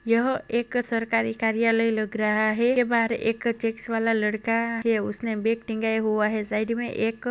यह एक सरकारी कार्यालय लग रहा है। इसके बाहर एक चेक्स वाला लड़का उसने बैग टंगेया हुआ है। साइड मे एक --